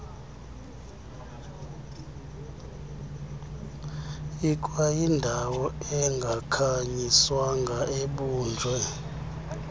ikwayindawo engakhanyiswanga obunje